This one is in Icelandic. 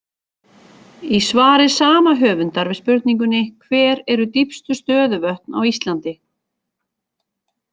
Í svari sama höfundar við spurningunni Hver eru dýpstu stöðuvötn á Íslandi?